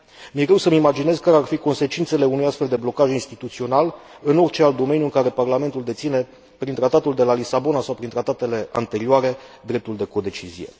Mi e greu să mi imaginez care ar fi consecințele unui astfel de blocaj instituțional în orice alt domeniu în care Parlamentul deține, prin Tratatul de la Lisabona sau prin tratatele anterioare, dreptul de codecizie.